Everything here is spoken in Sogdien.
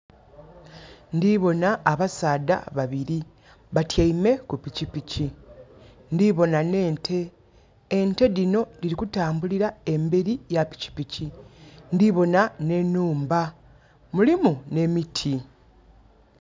Ndiboona abasaadha babiri. Batiame ku pikipiki. Ndiboona n' ente. Ente dhino diri kutambulira emberi ya pikpiki. Ndiboona ne nhumba. Mulimu ne miti